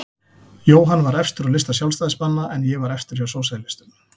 Jóhann var efstur á lista Sjálfstæðismanna en ég var efstur hjá sósíalistum.